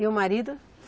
E o marido?